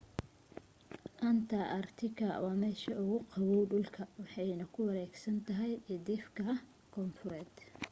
anta aartika waa meesha ugu qaboow dhulka waxayna ku wareegsan tahay cidhifka koonfureed